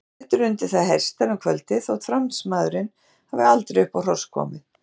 Settir undir það hestar um kvöldið, þótt Fransmaðurinn hafi aldrei upp á hross komið.